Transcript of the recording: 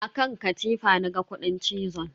A kan katifa na ga kudin cizon.